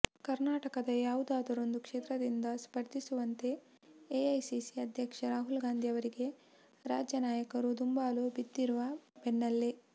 ಕರ್ನಾಟಕದ ಯಾವುದಾದರೊಂದು ಕ್ಷೇತ್ರದಿಂದ ಸ್ಪರ್ಧಿಸುವಂತೆ ಎಐಸಿಸಿ ಅಧ್ಯಕ್ಷ ರಾಹುಲ್ ಗಾಂಧಿ ಅವರಿಗೆ ರಾಜ್ಯ ನಾಯಕರು ದುಂಬಾಲು ಬಿದ್ದಿರುವ ಬೆನ್ನೆಲ್ಲೇ